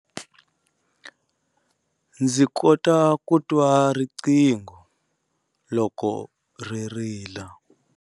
Ndzi kota ku twa riqingho loko ri rila.